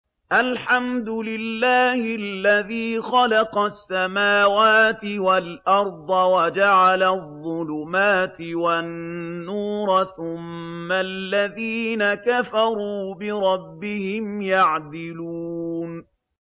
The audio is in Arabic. الْحَمْدُ لِلَّهِ الَّذِي خَلَقَ السَّمَاوَاتِ وَالْأَرْضَ وَجَعَلَ الظُّلُمَاتِ وَالنُّورَ ۖ ثُمَّ الَّذِينَ كَفَرُوا بِرَبِّهِمْ يَعْدِلُونَ